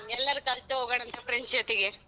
ಎಲ್ಲಾರ್ ಹೋಗೋಣ ಅಂತೆ friends ಜೊತೆಗೆ.